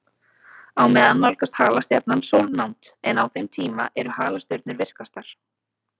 Á meðan nálgast halastjarnan sólnánd, en á þeim tíma eru halastjörnur virkastar.